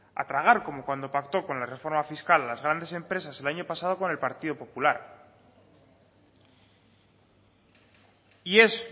a tragar como cuando pactó con la reforma fiscal las grandes empresas el año pasado con el partido popular y es